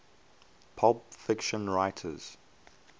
pulp fiction writers